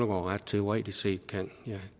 ret teoretisk set kan der